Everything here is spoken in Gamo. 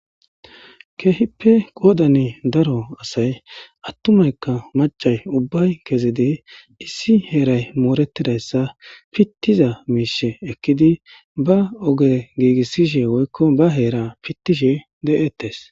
Keehippe goodani daro asay attumaykka macay ubbay kezidi issi heeray moorettidayssa pittiza miishe ekkidi ba oge giigissishe woykko ba heera pittishe de7ettes.